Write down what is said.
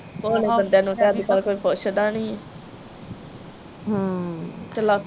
ਭੋਲੇ ਬੰਦਿਆ ਨੂੰ ਤੇ ਅਜਕਲ ਕੋਈ ਪੁੱਛਦਾ ਨਹੀਂ ਆ